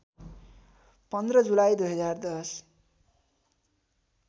१५ जुलाई २०१०